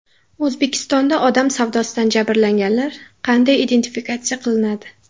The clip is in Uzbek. O‘zbekistonda odam savdosidan jabrlanganlar qanday identifikatsiya qilinadi?.